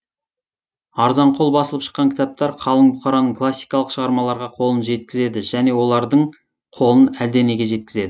арзанқол басылып шыққан кітаптар қалың бұқараның классикалық шығармаларға қолын жеткізеді және олардың қолын әлденеге жеткізеді